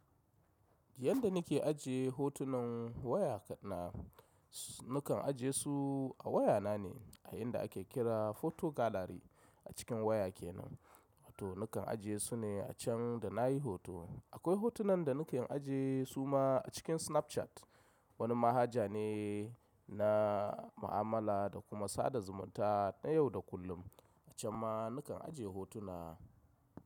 Yanda nake ajiye hotunan waya na, nakan ajiye su a waya na ne a inda ake kira photo gallery a cikin waya ke nan. To nakan ajiye su ne a can da na yi hoto. Akwai hotunan da nakan ajiye su ma a cikin Snapchat. Wani manhaja ne na ma'amala da kuma sada zumunta na yau da kullum. A can ma nakan ajiye hotuna.